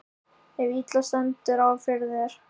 ef illa stendur á fyrir þér.